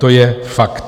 To je fakt.